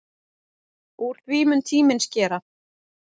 Úr því mun tíminn skera.